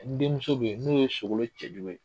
N denmuso bɛ yen n'o ye Sogolon cɛjugu ye